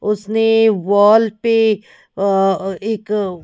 उसने वॉल पे अह एक।